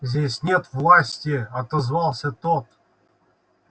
здесь нет власти отозвался тот